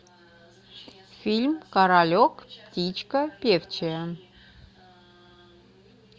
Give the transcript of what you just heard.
фильм королек птичка певчая